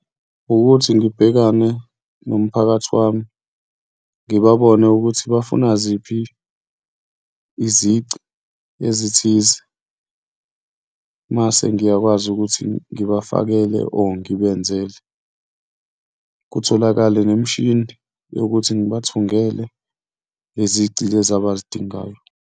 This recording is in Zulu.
Ukuthi ngibhekane nomphakathi wami ngibabone ukuthi bafuna ziphi izici ezithize mase ngiyakwazi ukuthi ngibafakele or ngibenzele. Kutholakale nemishini yokuthi ngibathungele lezici lezi abazidingayo.